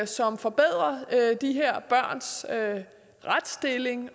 som forbedrer de her børns retsstilling